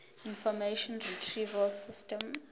information retrieval system